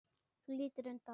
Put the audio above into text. Þú lítur undan.